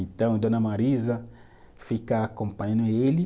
Então, Dona Marisa fica acompanhando ele.